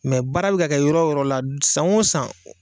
baara bɛ ka kɛ yɔrɔ yɔrɔ la san o san.